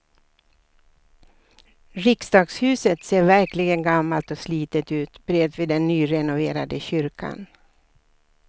Riksdagshuset ser verkligen gammalt och slitet ut bredvid den nyrenoverade kyrkan.